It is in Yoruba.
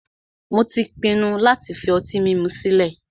Mó tí pinnu láti fi ọtí mímu sile